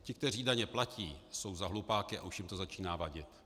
Ti, kteří daně platí, jsou za hlupáky a už jim to začíná vadit.